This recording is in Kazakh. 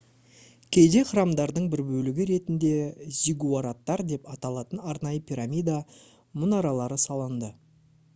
кейде храмдардың бір бөлігі ретінде зиггураттар деп аталатын арнайы пирамида мұнаралары салынды